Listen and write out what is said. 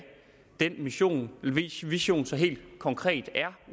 den vision vision så helt konkret er